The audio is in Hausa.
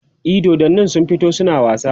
e dodannin sun fito suna wasa